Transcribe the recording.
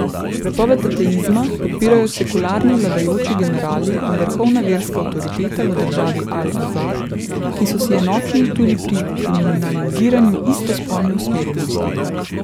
Prepoved ateizma podpirajo sekularni vladajoči generali in vrhovna verska avtoriteta v državi Al Azhar, ki so si enotni tudi pri kriminaliziranju istospolne usmerjenosti.